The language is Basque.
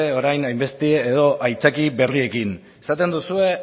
orain hain beste edo aitzakia berriekin esaten duzue